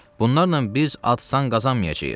Bunlarla biz ad-san qazanmayacağıq.